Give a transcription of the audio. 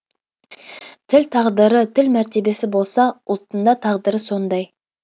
тіл тағдыры тіл мәртебесі болса ұлттыңда тағдыры сондай